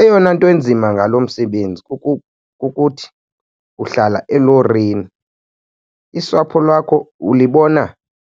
Eyona nto inzima ngalo msebenzi kukuthi uhlala elorini, isapho lwakho ulibona